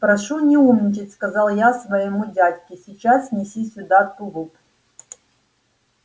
прошу не умничать сказал я своему дядьке сейчас неси сюда тулуп